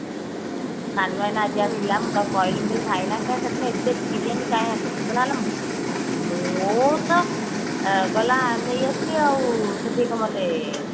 ସାନ ଆଜି ଆସିଲା ମୁଁ ତାକୁ କହିଲି ମୁଁ କହିଲି ଭାଇନା ଏ ସେଦିନ ଏତେ ବିରିୟାନୀ କାଇଁ ଆଣିଥିଲ ସେ କହିଲା ଆଲୋ ମୁଁ ତ ଗଲା ନେଇ ଆସିଲି ଆଉ ସେଠି କଣ ମତେ